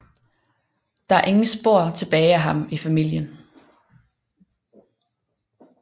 Der er ingen spor tilbage af ham i familien